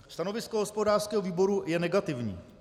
Stanovisko hospodářského výboru je negativní.